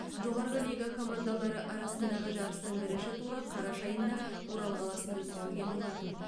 жоғарғы лига командалары арасындағы жарыстың бірінші туры қараша айында орал қаласында өткізілген болатын